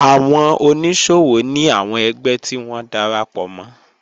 Àwọn oníṣòwò ní àwọn ẹgbẹ́ tí wọ́n darapọ̀ mọ́